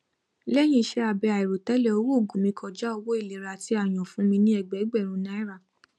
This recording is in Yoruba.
lẹyìn iṣẹ abẹ àìròtẹlẹ owó oògùn mi kọjá owó ìlera tí a yàn fún mi ní ẹgbẹẹgbèrún naira